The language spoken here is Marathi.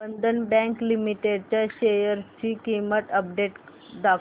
बंधन बँक लिमिटेड च्या शेअर्स ची अपडेट दाखव